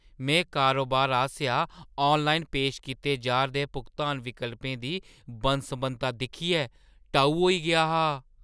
में कारोबार आसेआ आनलाइन पेश कीते जा'रदे भुगतान विकल्पें दी बन्न-सबन्नता दिक्खियै टऊ होई गेआ हा।